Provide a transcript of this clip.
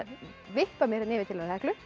vippa mér yfir til hennar Heklu